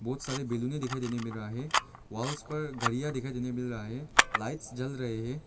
बहुत सारे बैलूने दिखाई देने मिल रहा है वॉल्स पर गरिया दिखाई देने मिल रहा है लाइट्स जल रहे हैं।